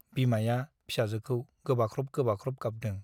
बिमाया फिसाजोखौ गोबाख्रब गोबाख्रब गाबदों ।